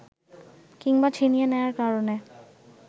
কিংবা ছিনিয়ে নেয়ার কারণে